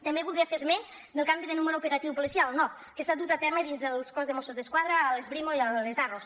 també voldria fer esment del canvi de número operatiu policial el nop que s’ha dut a terme dins del cos de mossos d’esquadra a les brimo i les arros